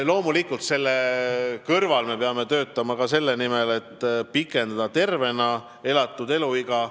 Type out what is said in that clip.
Loomulikult me peame selle kõrval töötama ka selle nimel, et pikendada tervena elatud eluiga.